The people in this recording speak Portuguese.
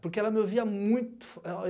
Porque ela me ouvia muito. Ela